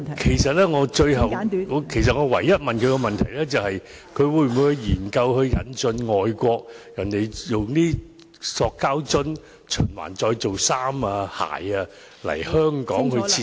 其實我問他的唯一問題是當局會否研究引進外國的將塑膠樽循環再造為衣服、鞋的技術，並在香港設廠......